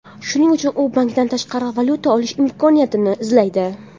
Shuning uchun u bankdan tashqari valyuta olish imkoniyatini izlaydi.